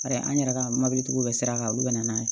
Bari an yɛrɛ ka mɔbilitigiw bɛɛ sira kan olu bɛ na n'a ye